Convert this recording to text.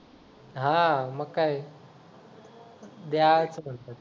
हां मग काय द्या असं म्हणतात.